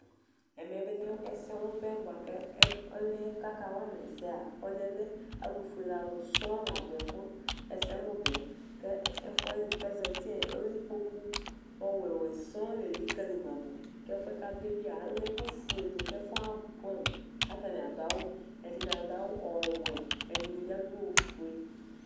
Ɛmɛbi lɛ ɛsɛmʋ bɛ ɔlʋ yɛ kʋ akawama ɛsɛ yɛa lɛ alʋfuele alʋ sɔŋ ladʋ ɛsɛmʋbɛ Ɛfʋwani kʋ ezati ɔwɛ ɔwɛ sɔŋ lelikali madʋ Kʋ ɛfʋɛ kʋ adʋ yɛ bia ala ɛkʋfue dʋ kʋ abʋɛamʋ, kʋ atani adʋ awʋ Ɛdini adʋ awʋ ɔwɛ, ɛdini bi adʋ ofue